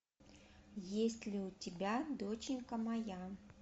есть ли у тебя доченька моя